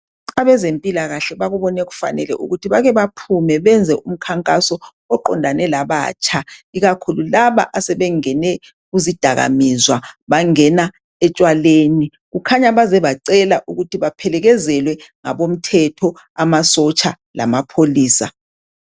Abazempilakahle bakubone kufanele ukuthi bake baphume benze umkhankaso oqondane labatsha. Ikakhulu labo asebengene kuzidakamizwa bangena etshwaleni. Kukhanya baze bacela ukuthi baphelekezelwe ngabomthetho amasotsha lamapholisa.